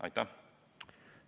Aitäh!